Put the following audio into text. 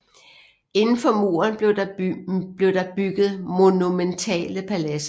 Indenfor muren blev der bygget monumentale paladser